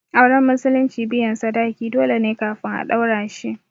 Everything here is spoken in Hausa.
Auren musulunci biyan sadaki dole ne kafin a ɗaura shi